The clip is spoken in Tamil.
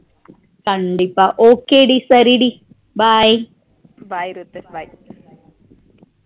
கண்டிப்பா okay டி சரி டி bye bye ரூத்து bye